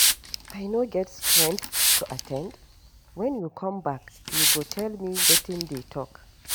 I no get strength to at ten d, wen you come back you go tell me wetin dey talk.